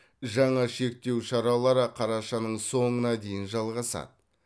жаңа шектеу шаралары қарашаның соңына дейін жалғасады